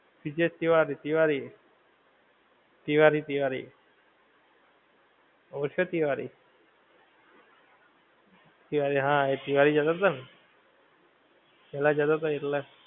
વિજય તિવારી તિવારી. તિવારી તિવારી. ઓળખ્યો તિવારી? તિવારી હા એ તિવારી જતો તો ને. પેલ્લા જતો તો ઈર્લા.